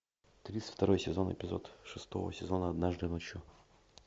тридцать второй сезон эпизод шестого сезона однажды ночью